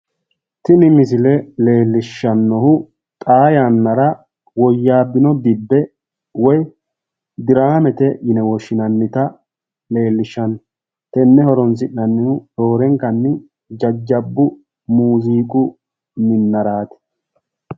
tini misile leellishshannohu xaa yaannara woyyaabbino dibbe woy diraamete yine woshshinannita leellishshanno tenne horonsi'nannihu roorenkanni jajjabbu muziiqu minnaraati